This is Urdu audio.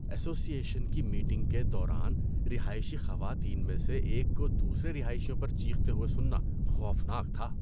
ایسوسی ایشن کی میٹنگ کے دوران رہائشی خواتین میں سے ایک کو دوسرے رہائشیوں پر چیختے ہوئے سننا خوفناک تھا۔